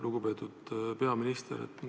Lugupeetud peaminister!